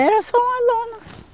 Era só uma lona.